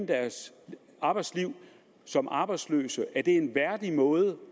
deres arbejdsliv som arbejdsløse er det en værdig måde